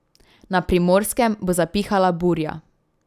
Na Primorskem bo zapihala burja.